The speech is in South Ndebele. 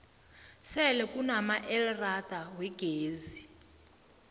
sele kunamaelrada wegezi